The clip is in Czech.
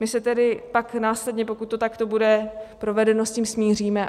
My se tedy pak následně, pokud to takto bude provedeno, s tím smíříme.